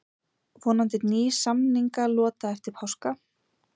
Vonandi ný samningalota eftir páska